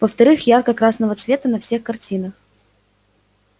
во-вторых ярко-красного цвета на всех картах